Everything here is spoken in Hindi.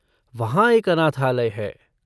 वहाँ एक अनाथालय है।